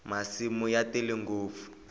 masimu ya tele ngopfu